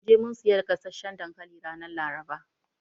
Mun je mun siya gasasshan dankali ranar Laraba.